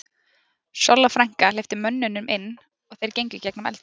Solla frænka hleypti mönnunum inn og þeir gengu í gegnum eldhúsið.